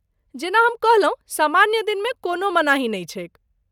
जेना हम कहलहुँ, सामान्य दिनमे कोनो मनाही नहि छैक।